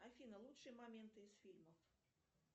афина лучшие моменты из фильмов